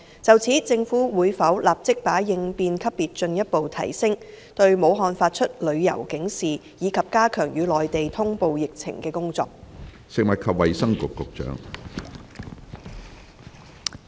就此，政府會否立即把應變級別進一步提升、對武漢發出旅遊警示，以及加強與內地通報疫情的工作？